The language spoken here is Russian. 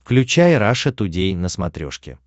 включай раша тудей на смотрешке